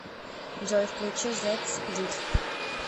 джой включи зэдс дид